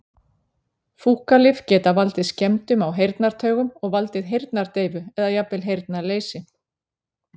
Fúkalyf geta valdið skemmdum á heyrnartaugum og valdið heyrnardeyfu eða jafnvel heyrnarleysi.